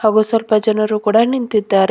ಹಾಗೂ ಸ್ವಲ್ಪ ಜನರು ಕೂಡ ನಿಂತಿದ್ದಾರೆ.